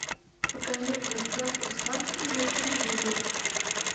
покажи в гостях у сказки на телевизоре